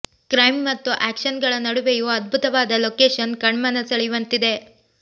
crime ಮತ್ತು action ಗಳ ನಡುವೆಯೂ ಅದ್ಭುತವಾದ ಲೊಕೇಶನ್ ಕಣ್ಮನ ಸೆಳೆಯುವಂತಿದೆ